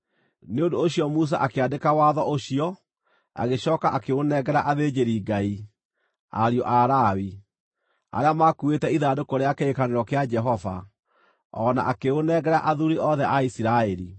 Nĩ ũndũ ũcio Musa akĩandĩka watho ũcio, agĩcooka akĩũnengera athĩnjĩri-Ngai, ariũ a Lawi, arĩa maakuĩte ithandũkũ rĩa kĩrĩkanĩro kĩa Jehova, o na akĩũnengera athuuri othe a Isiraeli.